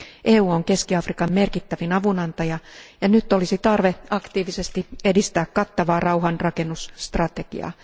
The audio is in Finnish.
EU on Keski Afrikan merkittävin avunantaja, ja nyt olisi tarve aktiivisesti edistää kattavaa rauhanrakennusstrategiaa.